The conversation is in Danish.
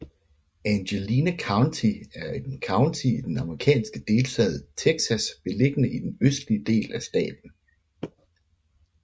Angelina County er en county i den amerikanske delstat Texas beliggende i den østlige del af staten